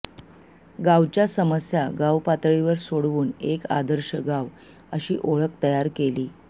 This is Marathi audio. गावच्या समस्या गावपातळीवर सोडवून एक आदर्श गाव अशी ओळख तयार केली